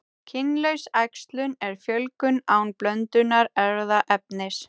Kynlaus æxlun er fjölgun án blöndunar erfðaefnis.